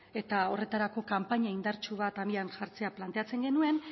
eta horretarako kanpaina indartsu bat abian jartzea planteatzen genuen